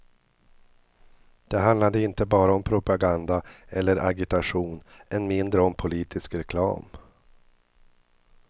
Det handlade inte bara om propaganda eller agitation, än mindre om politisk reklam.